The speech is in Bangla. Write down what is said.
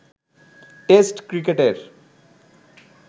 টেস্ট ক্রিকেটের